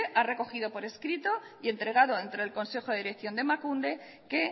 ha recogido por escrito y entregado entre el consejo de dirección de emakunde que